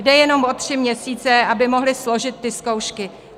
Jde jenom o tři měsíce, aby mohli složit ty zkoušky.